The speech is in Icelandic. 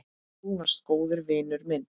Þú varst góður vinur minn.